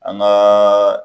An ka